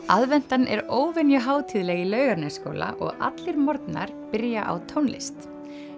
aðventan er óvenju hátíðleg í Laugarnesskóla og allir morgnar byrja á tónlist